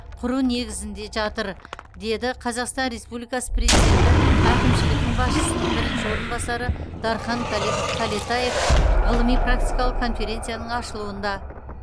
құру негізінде жатыр деді қазақстан республикасы президенті әкімшілігінің басшысының бірінші орынбасары дархан кәле кәлетаев ғылыми практикалық конференцияның ашылуында